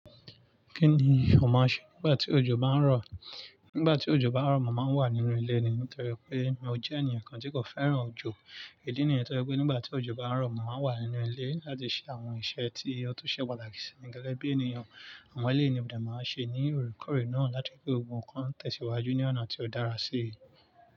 Kí ni ọmọ ṣe nígbà tí òjò bá ń rọ̀? Nígbà tí òjò bá ń rọ̀, mo màá ń wà nínú ilé ni nítorí pé mo jẹ́ ènìyàn kan tí kò fẹ́ràn òjò. Ìdí nìyẹn tó jẹ pé nígbà tí òjò bá ń rọ̀, màá ń wà nínú ilé láti ṣe àwọn iṣẹ́ tí ó tó ṣe pàtàkì sí mi gẹ́gẹ́ bí ènìyàn. Àwọn eleyii ni mo dẹ máa n ṣe ní óòrèkóòrè náà láti ri pe gbogbo ǹkan ń tẹ̀síwájú ní ọ̀nà tí ó dára sí i.